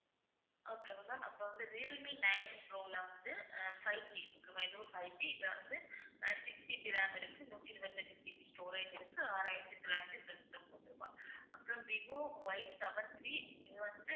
நம்ம வந்து, Realme nine pro ல வந்து ஆஹ் fiveG fiveG இது வந்து ஆஹ் 6GB RAM இருக்கு நூற்றி இருபத்தி எட்டு GB storage இருக்கு ஆறாயிரத்தி தொள்ளாயிரத்தி தொண்ணூற்று ஒன்பது ரூபாய் ஆஹ் அப்புறம் விவோ Yseven three இது வந்து